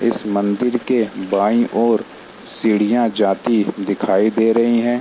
इस मंदिर के बायीं ओर सीढ़ियां जाती दिखाई दे रही है ।